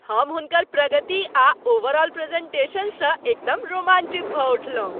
हम हुनकर प्रगति आ ओवरऑल प्रेज़ेन्टेशनसँ एकदम रोमांचित भऽ उठलहुँ।